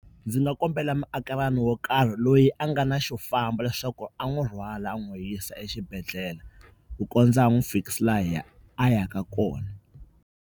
Ndzi nga kombela muakelani wo karhi loyi a nga na xo famba leswaku a n'wi rhwala a n'wi yisa exibedhlele ku kondza a n'wi fikisa laha a yaka kona.